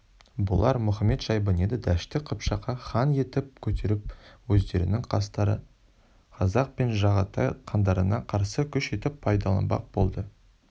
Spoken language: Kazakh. бұлар мұхамед-шайбаниды дәшті қыпшаққа хан етіп көтеріп өздерінің қастары қазақ пен жағатай хандарына қарсы күш етіп пайдаланбақ болды